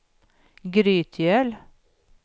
Grytgöl